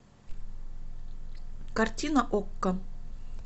картина окко